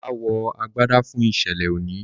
bàbá wọ àgbàdá fún iṣẹlẹ òní.